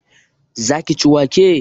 Za ki ci wake?